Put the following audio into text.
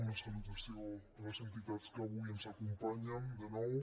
una salutació a les entitats que avui ens acompanyen de nou